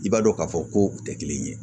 I b'a dɔn k'a fɔ ko u tɛ kelen ye